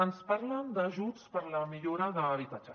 ens parlen d’ajuts per a la millora d’habitatge